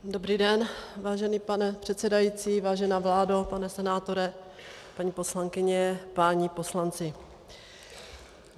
Dobrý den, vážený pane předsedající, vážená vládo, pane senátore, paní poslankyně, páni poslanci.